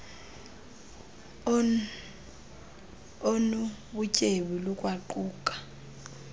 onu butyebi lukwaquka